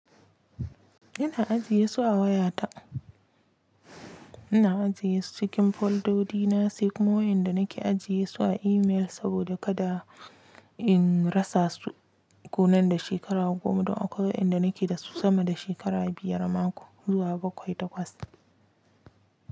Ina ajiye su a wayata. Ina ajiye su cikin foldodi na, sai kuma wainda nake ajiye su a email saboda kada in rasa su. Konan da shekara 10, duk akwai wainda nake da su sama da shekara biyar amma zuwa bakwai takwas.